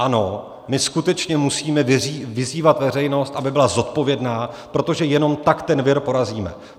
Ano, my skutečně musíme vyzývat veřejnost, aby byla zodpovědná, protože jenom tak ten vir porazíme.